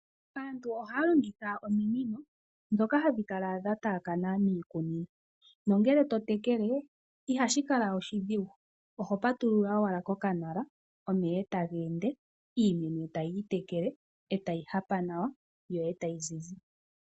Aantu ohaya longitha ominino dhoka hadhi kala dhataakana miikunino, nongele totekele ihashi kala oshidhigu oho patulula owala kokanala omeya otageende iimeno etayi itekele itayi hapa nawa yo etayi zizi.